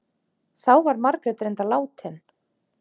Þá var Margrét reyndar látin.